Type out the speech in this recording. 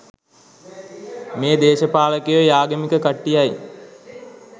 මේ දේශපාලකයොයි ආගමික කට්ටියයි.